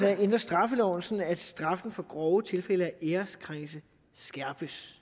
at ændre straffeloven sådan at straffen for grove tilfælde af æreskrænkelser skærpes